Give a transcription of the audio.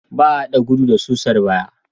Ba a haɗa gudu da susar baya.